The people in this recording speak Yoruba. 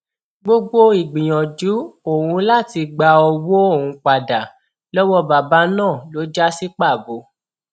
gbogbo ìgbìyànjú òun láti gba owó òun padà lọwọ bàbá náà ló já sí pàbó